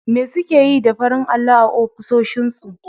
Me suke yi da farin allo a ofisoshinsu?